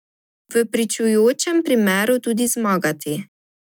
V pričujočem primeru tudi zmagati.